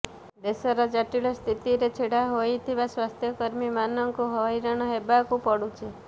ଦେଶର ଜଟିଳ ସ୍ଥିତିରେ ଛିଡ଼ା ହେଉଥିବା ସ୍ୱାସ୍ଥ୍ୟକର୍ମୀମାନଙ୍କୁ ହଇରାଣ ହେବାକୁ ପଡ଼ୁଛି